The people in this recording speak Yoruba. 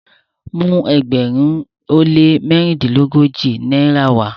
mu ẹgbẹrin o le marundilogoji náírà wa!